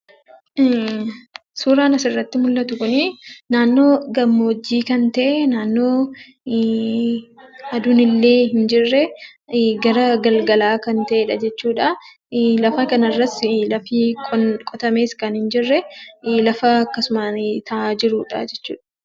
Suuraan asirratti mul'atu kuni naannoo gammoojjii kan ta'e naannoo aduunillee hin jirre gara galgalaa kan ta’edha jechuudha. Lafa kanarras lafi qotame kan hin jirre, lafa akkasumaan taa'aa jirudha jechuudha.